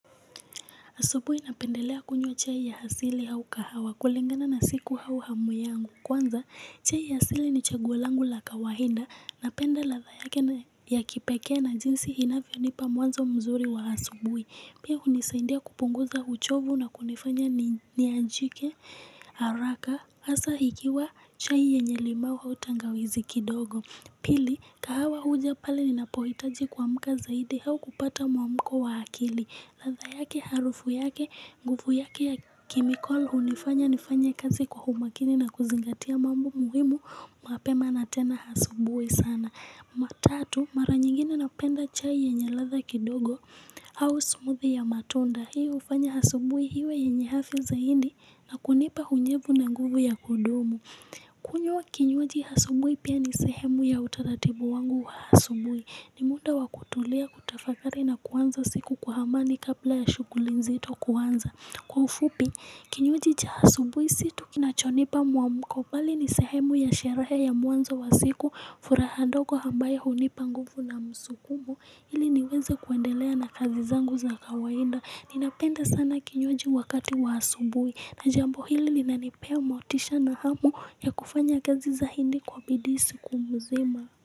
Asubuhi napendelea kunywa chai ya asili au kahawa kulingana na siku au hamuyangu. Kwanza, chai ya asili ni chaguolangu la kawaida. Napenda ladha yake ya kipekee na jinsi inavyo nipa mwanzo mzuri wa asubuhi. Pia hunisaidia kupunguza uchovu na kunifanya ni anjike haraka. Hasa ikiwa chai yenyelimau autangawizi kidogo. Pili, kahawa huja pale ninapohitaji kua mka zaidi au kupata mwa mko wa akili. Ladha yake, harufu yake, nguvu yake ya chemical, hunifanya nifanye kazi kwa umakini na kuzingatia mambo muhimu, mapema natena asubuhi sana. Matatu, maranyingine napenda chai yenye ladha kidogo au smoothie ya matunda. Hiyo hufanya asubuhi iwe yenye afya zaidi na kunipa unyevu na nguvu ya kudumu. Kunywa kinywaji asubuhi pia ni sehemu ya utaratibu wangu wa asubuhi. Ni muda wakutulia kutafakari na kuanza siku kwaamani kabla ya shughuli nzito kuanza Kwa ufupi, kinywajicha asubuhi situ kina chonipa mwamukobali ni sehemu ya sherehe ya mwanzo wa siku fura handogo ambayo hunipa nguvu na msukumu ili niweze kwendelea na kazi zangu za kawaida Ninapenda sana kinywaji wakati waasubuhi Najambo hili li nanipea motisha na hamu ya kufanya kazi zaidi kwa bidiisi kumzima.